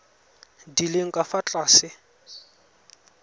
di leng ka fa tlase